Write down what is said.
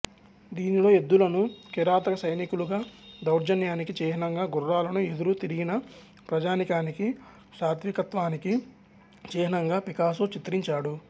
దీనిలో ఎద్దులను కిరాతక సైనికులకు దౌర్జన్యానికి చిహ్నంగా గుర్రాలను ఎదురు తిరిగిన ప్రజానీకానికి సాత్వికత్వానికి చిహ్నంగా పికాసో చిత్రించాడు